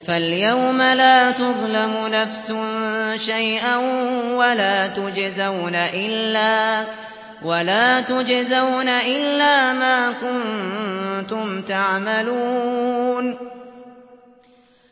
فَالْيَوْمَ لَا تُظْلَمُ نَفْسٌ شَيْئًا وَلَا تُجْزَوْنَ إِلَّا مَا كُنتُمْ تَعْمَلُونَ